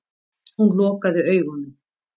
Hún lokaði augunum.